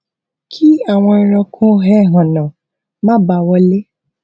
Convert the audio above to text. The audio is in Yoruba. kí àwọn ẹranko ẹhànnà má bàa wọlé